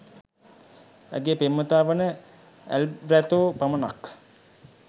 ඇගේ පෙම්වතා වන ඈල්බෑර්තෝ පමණක්